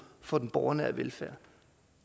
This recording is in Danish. for den borgernære velfærd